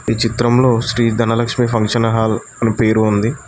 ఈ చిత్రంలో Sri Dhanalakshmi function hall అని పేరు ఉంది.